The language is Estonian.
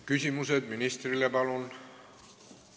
Küsimused ministrile, palun!